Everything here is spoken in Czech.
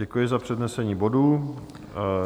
Děkuji za přednesení bodu.